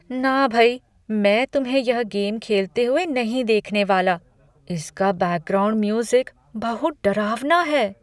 ना भई! मैं तुम्हें यह गेम खेलते हुए नहीं देखने वाला। इसका बैकग्राउंड म्यूज़िक बहुत डरावना है!